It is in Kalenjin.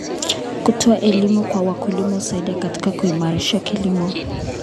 Kutoa elimu kwa wakulima husaidia katika kuimarisha kilimo.